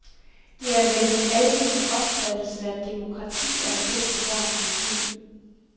Det er vel den almene opfattelse, at demokrati er det bedste værn mod krig.